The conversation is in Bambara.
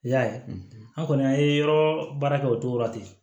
I y'a ye an kɔni an ye yɔrɔ baara kɛ o cogo la ten